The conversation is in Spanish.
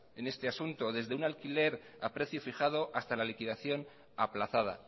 en este asunto desde un alquiler a precio fijado hasta la liquidación aplazada